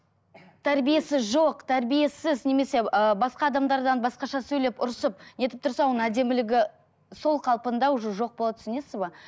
тәрбиесі жоқ тәрбиесіз немесе ыыы басқа адамдардан басқаша сөйлеп ұрысып нетіп тұрса оның әдемілігі сол қалпында уже жоқ болады түсінесіз бе